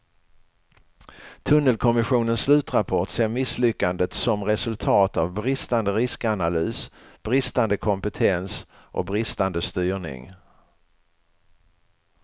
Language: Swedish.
Tunnelkommissionens slutrapport ser misslyckandet som resultat av bristande riskanalys, bristande kompetens och bristande styrning.